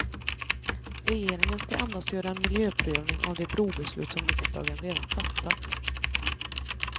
Regeringen ska endast göra en miljöprövning av det brobeslut som riksdagen redan fattat.